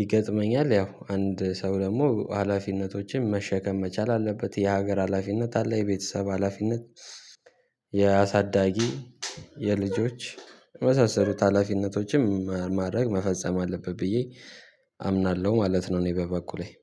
ይገጥመኛል ያው አንድ ሰው ደግሞ ሀላፊነቶችን መሸከም መቻል አለበት የሀገር ሀላፊነት አለ የቤተሰብ ሀላፊነት የአሳዳጊ የልጆች መሰረተ ሀላፊነቶችም ማድረግ መፈጸም አለበት ብዬ አምናለሁ ማለት ነው። እኔ በበኩሌ